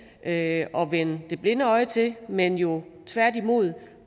at vende det blinde øje til men jo tværtimod vil